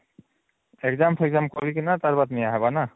exam exam କରିକିନା ତାପରେ ନିଆ ହଵାରନା ନା